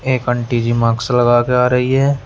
एक aunty ji mask लगा कर आ रही है।